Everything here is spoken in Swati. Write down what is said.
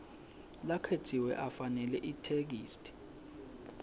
lakhetsiwe afanele itheksthi